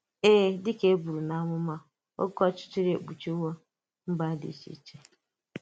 Èè, dị ka e bùrù n’amụma, òké ọchịchịrị èkpùchìwò mba dị iche iche